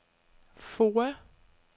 FOA